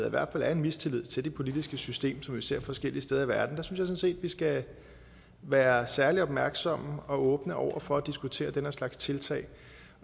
i hvert fald er en mistillid til det politiske system som vi ser forskellige steder i verden så sådan set at vi skal være særlig opmærksomme og åbne over for at diskutere den her slags tiltag